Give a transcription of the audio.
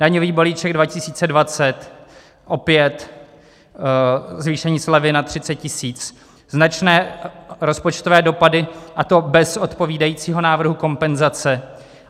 - Daňový balíček 2020, opět zvýšení slevy na 30 tisíc: značné rozpočtové dopady, a to bez odpovídajícího návrhu kompenzace.